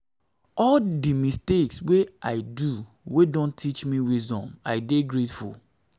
all di mistakes wey i do wey don teach me wisdom i dey grateful